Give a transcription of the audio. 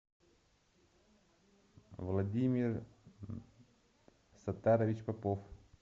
владимир саттарович попов